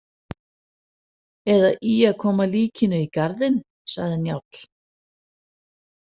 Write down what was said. Eða í að koma líkinu í garðinn, sagði Njáll.